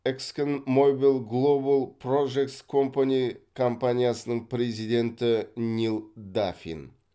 эксконмобил глобал прожектс компани компаниясының президенті нил даффин